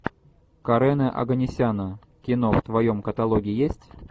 карена оганесяна кино в твоем каталоге есть